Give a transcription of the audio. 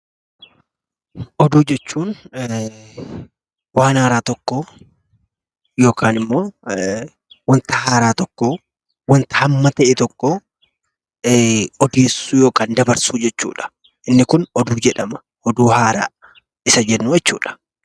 Oduu jechuun waan haaraa tokko yookaan immoo waan haaraa tokko wanta hamma ta'e tokko odeessuu yookaan dabarsuu jechuudha. Oduu haaraa jechuudha.